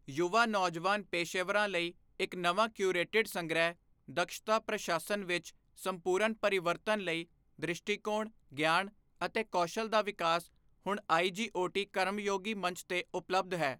ਯੁਵਾ ਨੌਜਵਾਨ ਪੇਸ਼ੇਵਰਾਂ ਲਈ ਇੱਕ ਨਵਾਂ ਕਿਉਰੇਟਿਡ ਸੰਗ੍ਰਹਿ ਦਕਸ਼ਤਾ ਪ੍ਰਸ਼ਾਸਨ ਵਿੱਚ ਸੰਪੂਰਨ ਪਰਿਵਰਤਨ ਲਈ ਦ੍ਰਿਸ਼ਟੀਕੋਣ, ਗਿਆਨ ਅਤੇ ਕੌਸ਼ਲ ਦਾ ਵਿਕਾਸ ਹੁਣ ਆਈਜੀਓਟੀ ਕਰਮਯੋਗੀ ਮੰਚ ਤੇ ਉਪਲਬਧ ਹੈ।